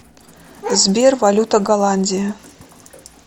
сбер валюта голландии